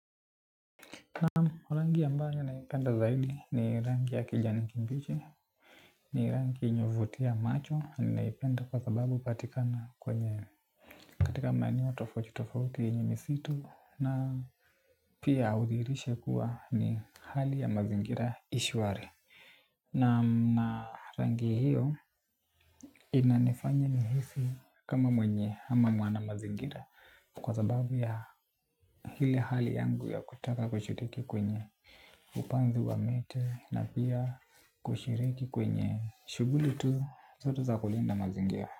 Naam rangi ambayo naipenda zaidi ni rangi ya kijani kibichi. Ni rangi yenye huvutia macho na ninaipenda kwa sababu hupatikana kwenye katika maeneo tofauti tofauti yenye misitu na pia hudhihirisha kuwa ni hali ya mazingira i shwari. Na rangi hiyo inanifanya nihisi kama mwenye ama mwanamazingira. Kwa sababu ya hile hali yangu ya kutaka kushiriki kwenye upanzi wa miti na pia kushiriki kwenye shughuli tu zote za kulinda mazingira.